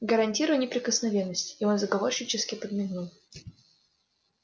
гарантирую неприкосновенность и он заговорщически подмигнул